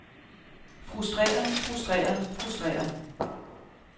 frustreret frustreret frustreret